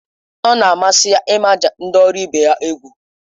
Ọ na-amasị ya ịmaja ndị ọrụ ibe ya egwu